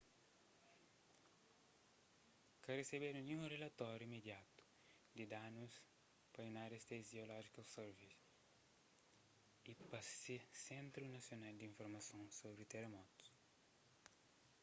ka resebedu ninhun rilatóri imediatu di danus pa united states geological survey usgs y pa se sentru nasional di informason sobri teramotus